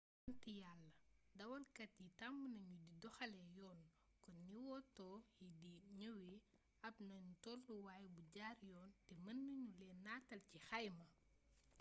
sant yalla dawalkat yi tàmm nañu di doxalee yoon kon ni woto yi di ñëwee ab nanu tolluwaay bu jaar yoon te mën nanu leen nataal ci xayma